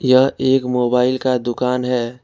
यह एक मोबाइल का दुकान है।